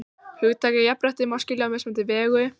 Hugtakið jafnrétti má skilja á mismunandi vegu.